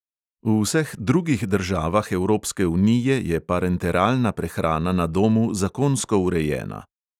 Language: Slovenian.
V vseh drugih državah evropske unije je parenteralna prehrana na domu zakonsko urejena.